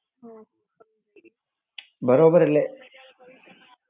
બરોબર એટલે.